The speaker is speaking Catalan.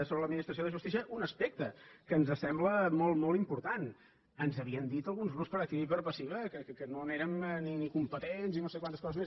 sobre l’administració de justícia un aspecte que ens sembla molt molt important ens havien dit alguns grups per activa i per passiva que no n’érem ni competents ni no sé quantes coses més